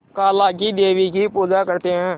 काला क़ी देवी की पूजा करते है